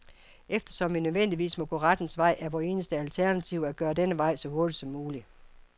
Eftersom vi nødvendigvis må gå rettens vej, er vort eneste alternativ at gøre denne vej så hurtig som mulig.